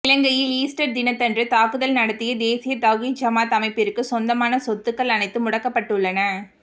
இலங்கையில் ஈஸ்டர் தினத்தன்று தாக்குதல் நடத்திய தேசிய தௌஹித் ஜமாத் அமைப்பிற்கு சொந்தமான சொத்துக்கள் அனைத்தும் முடக்கப்பட்டுள்ளன